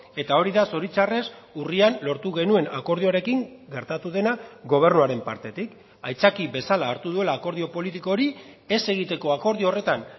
eta hori da zoritzarrez urrian lortu genuen akordioarekin gertatu dena gobernuaren partetik aitzaki bezala hartu duela akordio politiko hori ez egiteko akordio horretan